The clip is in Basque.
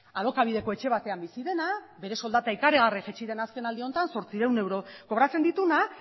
alokabideko etxe batean bizi dena bere soldata ikaragarri jaitsi dena azken aldi honetan zortziehun euro kobratzen dituena